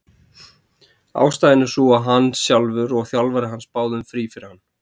Ástæðan er sú að hann sjálfur og þjálfari hans báðu um frí fyrir hann.